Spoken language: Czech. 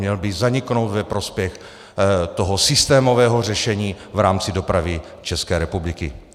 Měl by zaniknout ve prospěch toho systémového řešení v rámci dopravy České republiky.